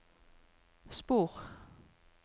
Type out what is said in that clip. spor